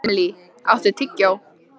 Emilý, áttu tyggjó?